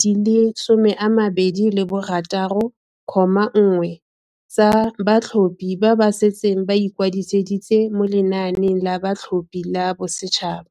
di le 26.1 tsa batlhophi ba ba setseng ba ikwadisitse mo lenaaneng la batlhophi la bosetšhaba.